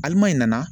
Alima in nana